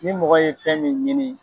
Ni mɔgɔ ye fɛn min ɲini.